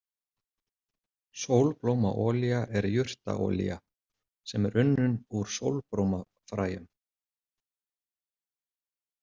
Sólblómaolía er jurtaolía sem er unnin úr sólblómafræjum.